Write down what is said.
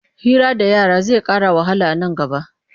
Hira da yara zai ƙara wahala a nan gaba.